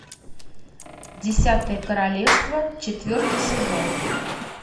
десятое королевство четвертый сезон